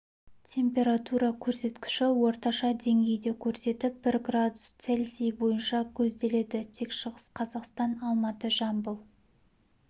температура көрсеткіші орташа деңгейді көрсетіп бір градус цельсий бойынша көзделеді тек шығыс қазақстан алматы жамбыл